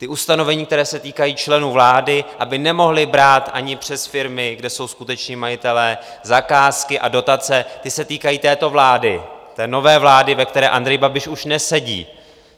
Ta ustanovení, která se týkají členů vlády, aby nemohli brát ani přes firmy, kde jsou skuteční majitelé, zakázky a dotace, ty se týkají této vlády, té nové vlády, ve které Andrej Babiš už nesedí.